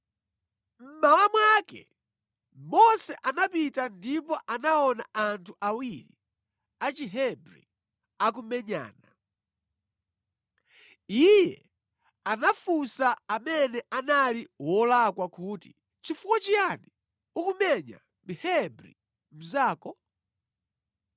Mmawa mwake Mose anapita ndipo anaona anthu awiri a Chihebri akumenyana. Iye anafunsa amene anali wolakwa kuti, “Chifukwa chiyani ukumenya Mhebri mnzako?”